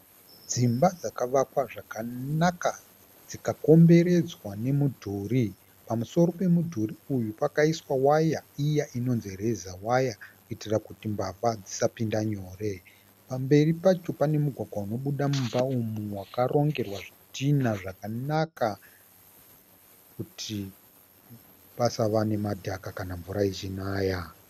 Dzimba dzakavakwa zvakanaka dzikakomberedzwa nemudhuri. Pamusoro pemudhuri uyu pakaiswa waya iya inonzi reza waya kuitira kuti mbavha dzisapinda nyore. Pamberi pacho pane mugwagwa unobuda mumba umu wakarongerwa nezvidhinha zvakanaka kuti pasava nemadhaka kana mvura ichinaya.